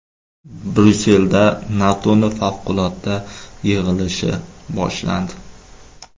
Bryusselda NATOning favqulodda yig‘ilishi boshlandi.